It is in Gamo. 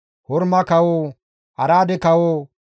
Horma kawo, Araade kawo,